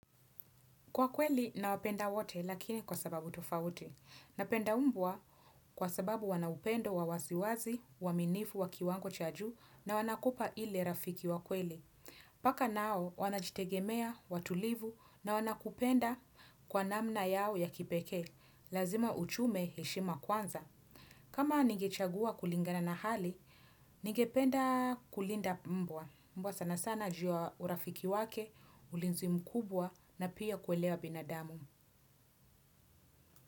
Kwa kweli nawapenda wote lakini kwa sababu tofauti. Napenda mbwa kwa sababu wana upendo wa wasiwasi, uaminifu, wa kiwango cha juu na wanakupa ile rafiki wa kweli. Paka nao wanajitegemea, watulivu na wanakupenda kwa namna yao ya kipekee. Lazima uchume heshima kwanza. Kama ningechagua kulingana na hali, ningependa kulinda mbwa. Mbwa sana sana juu ya urafiki wake, ulinzi mkubwa na pia kuelewa binadamu.